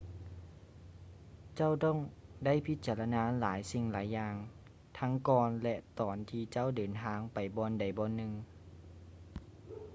ເຈົ້າຕ້ອງໄດ້ພິຈາລະນາຫຼາຍສິ່ງຫຼາຍຢ່າງທັງກ່ອນ ແລະ ຕອນທີ່ເຈົ້າເດີນທາງໄປບ່ອນໃດບ່ອນໜຶ່ງ